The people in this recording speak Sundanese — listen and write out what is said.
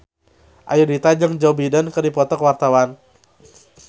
Ayudhita jeung Joe Biden keur dipoto ku wartawan